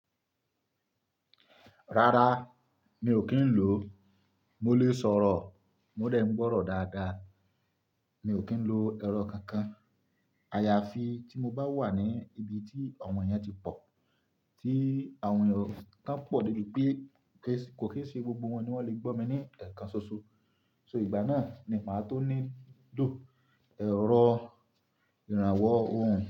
Rárá mi ò kí ń lò ó, mo lè sọ̀rọ̀, mo dè ń gbọ́rọ̀ dáadáa. Mi ò kí ń lo ẹ̀rọ kankan. Àyàfi tí mo bá wà ní ibi tí àwọn èèyàn ti pọ̀, tí àwọn kan pọ̀ débi pé kò ki n ṣe gbogbo wọn ni wọ́n lè gbọ́ mi ní ẹ̀ẹ̀kan ṣoṣo. So ìgbà náà ni màá tó ní lo ẹ̀rọ ìrànwọ́ ohùn.